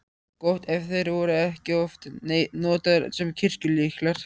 Gott ef þeir voru ekki oft notaðir sem kirkjulyklar.